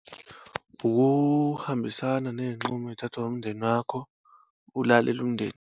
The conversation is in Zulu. Ukuhambisana neyinqumo eyithathwa umndeni wakho. Ulalele umndeni.